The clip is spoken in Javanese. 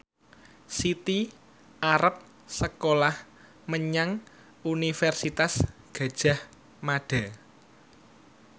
Siti arep sekolah menyang Universitas Gadjah Mada